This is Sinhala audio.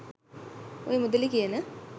ඔය "මුදළි" කියන